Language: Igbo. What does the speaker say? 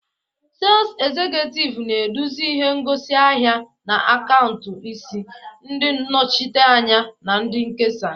Sales Executive na-eduzi ihe ngosi ahịa na akaụntụ isi, ndị nnọchiteanya na ndị nkesa